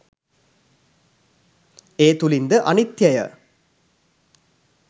ඒ තුලින්ද අනිත්ත්‍යය